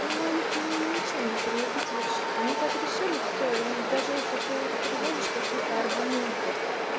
ну их ничем не переубедишь они так решили всё и даже если ты приводишь какие-то аргументы